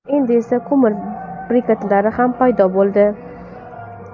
Endi esa ko‘mir briketlari ham paydo bo‘ldi.